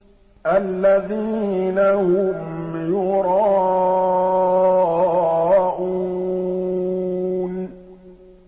الَّذِينَ هُمْ يُرَاءُونَ